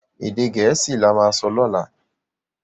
Èdè Gẹ̀ẹ́sì là má sọ lọla.